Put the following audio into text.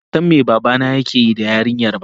bansan me babana yakeyi da yarinyar ba.